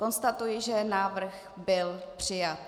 Konstatuji, že návrh byl přijat.